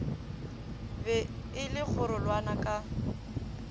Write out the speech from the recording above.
be e le kgorulana ka